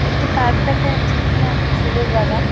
একটি পার্ক দেখা যাচ্ছে যেখানে অনেক ফুলের বাগান ।